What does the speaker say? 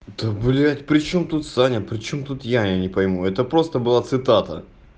да блять причём тут саня причём тут я я не пойму это просто была цитата